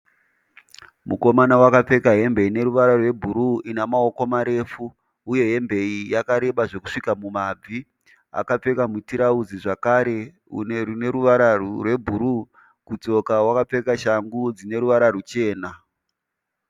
Mukomana wakapfeka hembe ine ruvara rwebhuruu ine maoko marefu uye hembe iyi yakareba zvekusvika kumabvi. Akapfeka mutirauzi zvakare une ruvara rwebhuruu. Kutsoka wakapfeka shangu dzine ruvara ruchena.